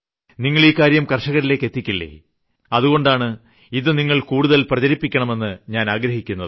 നിങ്ങൾ ഇക്കാര്യം കർഷകരിലെത്തിക്കില്ലേ അതുകൊണ്ടാണ് ഇത് നിങ്ങൾ കൂടുതൽ പ്രചരിപ്പിയ്ക്കണം എന്ന് ഞാൻ ആഗ്രഹിക്കുന്നത്